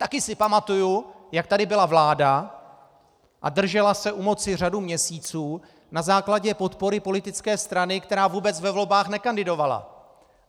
Taky si pamatuju, jak tady byla vláda a držela se u moci řadu měsíců na základě podpory politické strany, která vůbec ve volbách nekandidovala!